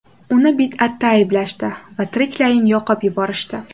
Uni bid’atda ayblashdi va tiriklayin yoqib yuborishdi.